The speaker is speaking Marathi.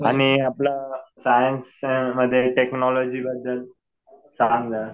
आणि आपलं सायन्स मध्ये टेक्नॉलॉजी बद्दल सांग ना.